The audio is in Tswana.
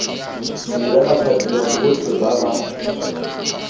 dira bathapiwa botlhe ba ba